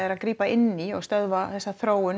að grípa inn í og stöðva þessa þróun